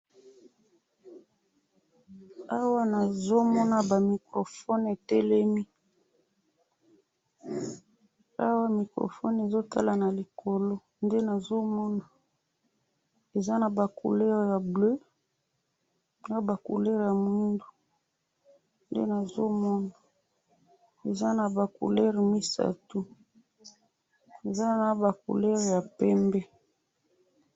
awa nazo ona ba michrophone etelemi ,awa microphone ezo mona na likolo eza na ba couleur ya bleu naya mwindu eza naba couleur misatou eza na bacouleur ya pembe.